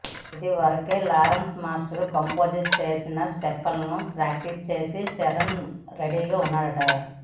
ఇదివరకే Lawrence master compose చేసిన స్టెప్పులను ప్రాక్టీస్ చేసి చరణ్ రెడీగా ఉన్నా డట